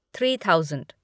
three thousand